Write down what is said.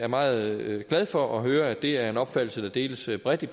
meget glad for at høre at det er en opfattelse der deles bredt i